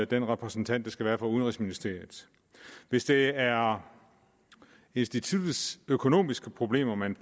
den repræsentant der skal være der fra udenrigsministeriet hvis det er instituttets økonomiske problemer man